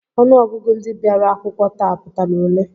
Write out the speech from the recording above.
Ọnụọgụgụ ndị bịara akwụkwọ taa pụtara ole?